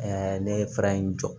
ne ye fara in jɔ